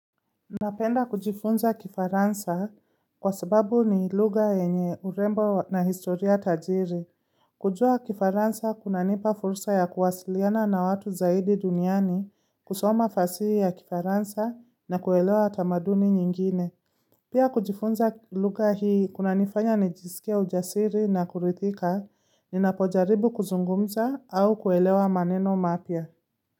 Napenda kujifunza kifaransa kwa sababu ni lugha yenye urembo na historia tajiri. Kujua kifaransa kunanipa fursa ya kuwasiliana na watu zaidi duniani kusoma fasihi ya kifaransa na kuelewa tamaduni nyingine. Pia kujifunza lugha hii kuna nifanya nijisikia ujasiri na kurithika, ninapojaribu kuzungumza au kuelewa maneno mapya.